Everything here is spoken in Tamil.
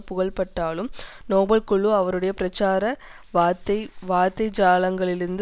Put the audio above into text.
புகழப்பட்டாலும் நோபல் குழு அவருடைய பிரச்சார வார்த்தை வார்த்தை ஜாலங்களிலிருந்த